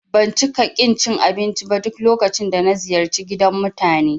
Ban cika ƙin cin abinci ba duk lokacin da ziyarci gidan mutane